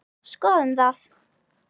Skoðum það.